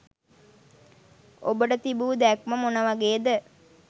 ඔබට තිබූ දැක්ම මොනවගේද?